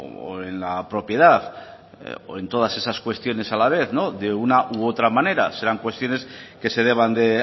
o en la propiedad o en todas esas cuestiones a la vez no de una o de otra manera serán cuestiones que se deban de